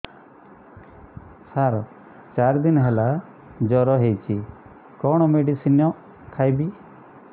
ସାର ଚାରି ଦିନ ହେଲା ଜ୍ଵର ହେଇଚି କଣ ମେଡିସିନ ଖାଇବି